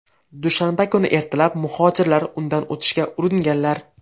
Dushanba kuni ertalab muhojirlar undan o‘tishga uringanlar.